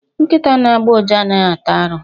Nkịta na-agbọ ụja anaghị ata arụ.